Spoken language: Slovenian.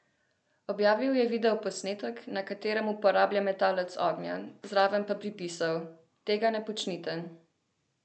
Objavil je videoposnetek, na katerem uporablja metalec ognja, zraven pa pripisal: "Tega ne počnite.